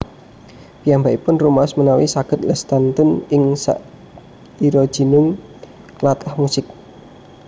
Piyambakipun rumaos menawi saghed lestantun ing sakijroning tlatah musik